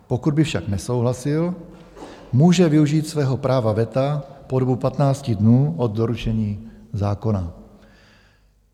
Pokud by však nesouhlasil, může využít svého práva veta po dobu 15 dnů od doručení zákona.